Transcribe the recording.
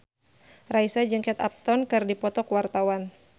Raisa jeung Kate Upton keur dipoto ku wartawan